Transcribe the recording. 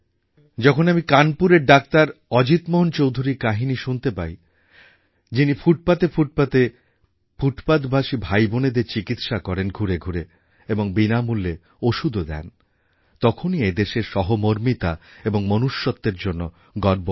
যখন আমি কানপুরের ডাক্তার অজিত মোহন চৌধুরীর কাহিনি শুনতে পাই যিনি ফুটপাথে ফুটপাথে ঘুরে এই ডাক্তার ফুটপাথবাসী ভাইবোনেদের চিকিৎসা করেন এবং বিনামূল্য ওষুধও দেনতখনই এদেশের সহমর্মিতা এবং মনুষ্যত্বের জন্য গর্ব হয়